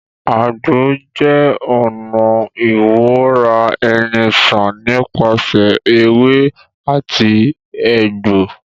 Àgbo jẹ́ ọ̀nà ìwora-eni-sàn nípasẹ̀ ewé àti ẹ̀fọ́